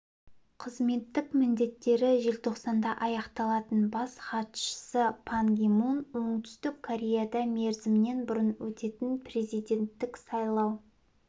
қызметтік міндеттері желтоқсанда аяқталатын бас хатшысы пан ги мун оңтүстік кореяда мерзімінен бұрын өтетін президенттік сайлау